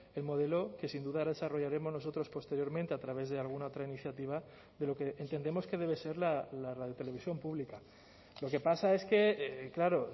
el modelo que sin duda desarrollaremos nosotros posteriormente a través de alguna otra iniciativa de lo que entendemos que debe ser la radio televisión pública lo que pasa es que claro